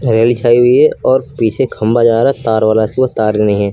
हरियाली छाई हुई है और पीछे खंबा जा रहा है तार वाला उसमें तार है।